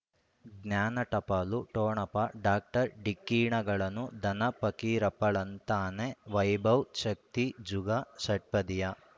ಜ್ಞಾನ ಟಪಾಲು ಠೊಣಪ ಡಾಕ್ಟರ್ ಢಿಕ್ಕಿ ಣಗಳನು ಧನ ಫಕೀರಪ್ಪ ಳಂತಾನೆ ವೈಭವ್ ಶಕ್ತಿ ಝುಗಾ ಷಟ್ಪದಿಯ